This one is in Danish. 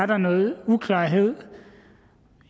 der noget uklarhed